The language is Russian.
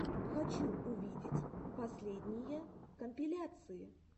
хочу увидеть последние компиляции